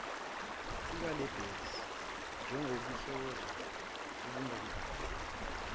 sikalabase njengobuluhlaza obungakaze